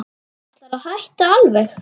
Ætlarðu að hætta alveg.